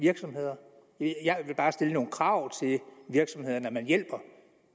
virksomheder jeg vil bare stille nogle krav til de virksomheder man hjælper